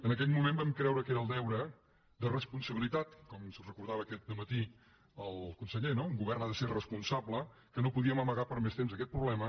en aquell moment vam creure que era el deure de responsabilitat com ens recordava aquest dematí el conseller no un govern ha de ser responsable que no podíem amagar per més temps aquest problema